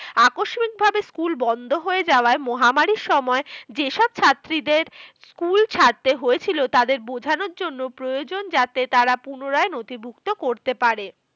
আকস্মিক ভাবে school বন্ধ হয়ে যাওয়ায় মহামারীর সময় যেসব ছাত্রীদের school ছাড়তে হয়েছিল তাদের বোঝানোর জন্য প্রয়োজন। যাতে তারা পুনরায় নথিভুক্ত করতে পারে।